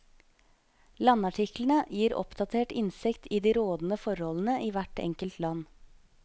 Landartiklene gir oppdatert innsikt i de rådende forholdene i hvert enkelt land.